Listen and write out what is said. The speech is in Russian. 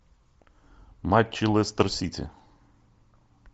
матчи лестер сити